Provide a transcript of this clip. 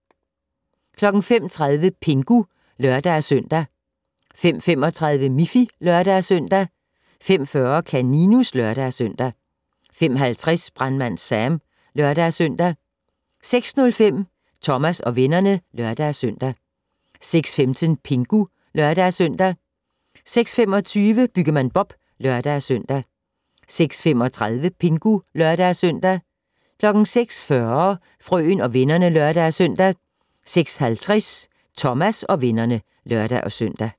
05:30: Pingu (lør-søn) 05:35: Miffy (lør-søn) 05:40: Kaninus (lør-søn) 05:50: Brandmand Sam (lør-søn) 06:05: Thomas og vennerne (lør-søn) 06:15: Pingu (lør-søn) 06:25: Byggemand Bob (lør-søn) 06:35: Pingu (lør-søn) 06:40: Frøen og vennerne (lør-søn) 06:50: Thomas og vennerne (lør-søn)